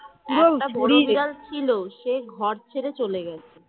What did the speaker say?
ছিল সে ঘর ছেড়ে চলে গেছে।